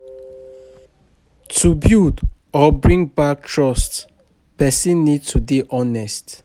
To build or bring back trust, person need to dey honest